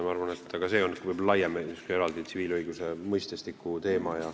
Ma arvan, et see on laiem tsiviilõiguse mõistestiku teema.